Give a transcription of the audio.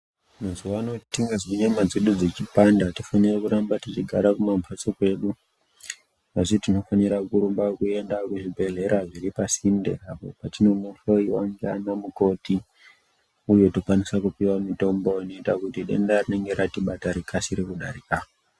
Mazuwa ano tingazwe nyama dzedu dzechipanda atifaniri kuramba tichigara kumambatso kwedu asi tinofanira kurumba kuenda kuzvibhedhera zviri pasinde apo patinonohlyiwa ndiana mukoti uye tokwanisa kupiwa mitombo inoita kuti denda rinenge ratibata rikasire kudarika.